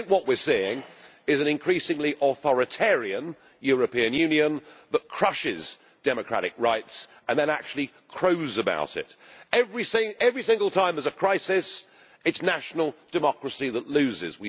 I think what we are seeing is an increasingly authoritarian European Union that crushes democratic rights and then actually crows about it. Every single time there is a crisis, it is national democracy that loses.